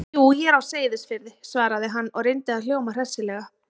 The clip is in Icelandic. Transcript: Jú, ég er á Seyðisfirði- svaraði hann og reyndi að hljóma hressilega.